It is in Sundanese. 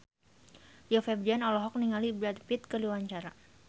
Rio Febrian olohok ningali Brad Pitt keur diwawancara